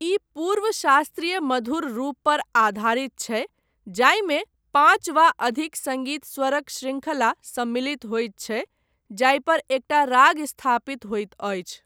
ई पूर्व शास्त्रीय मधुर रूपपर आधारित छै जाहिमे पाँच वा अधिक सङ्गीत स्वरक शृंखला सम्मिलित होइत छै जाहिपर एकटा राग स्थापित होइत अछि।